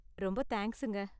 ரொம்ப தேங்க்ஸுங்க.